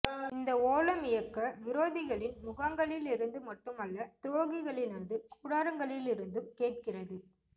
இந்த ஓலம் இயக்க விரோதிகளின் முகாகங்களிலிருந்து மட்டுமல்ல துரோகிகளினது கூடாரங்களிலிருந்தும் கேட்கிறது